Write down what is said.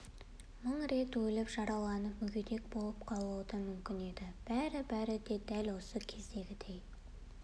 мың рет өліп жарала-нып мүгедек болып қалуы да мүмкін еді бәрі-бәрінде де дәл осы кездегідей